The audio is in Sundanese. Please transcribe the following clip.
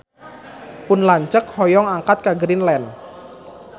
Pun lanceuk hoyong angkat ka Greenland